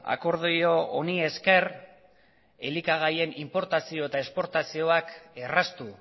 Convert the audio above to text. akordio honi esker elikagaien inportazio eta esportazioak erraztu